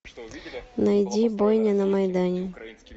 найди бойня на майдане